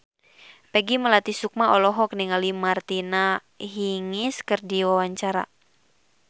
Peggy Melati Sukma olohok ningali Martina Hingis keur diwawancara